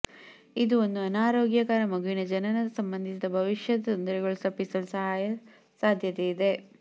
ಇದು ಒಂದು ಅನಾರೋಗ್ಯಕರ ಮಗುವಿನ ಜನನದ ಸಂಬಂಧಿಸಿದ ಭವಿಷ್ಯದ ತೊಂದರೆಗಳು ತಪ್ಪಿಸಲು ಸಹಾಯ ಸಾಧ್ಯತೆಯಿದೆ